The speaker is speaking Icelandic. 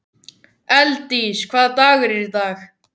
Hún reyndi þetta við föður minn oftar en einu sinni.